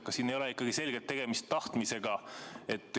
Kas siin ei ole ikkagi selgelt tegemist tahtmisega?